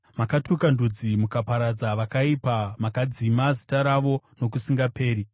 Makatuka ndudzi mukaparadza vakaipa; makadzima zita ravo nokusingaperi.